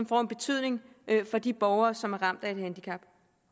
får en betydning for de borgere som er ramt af et handicap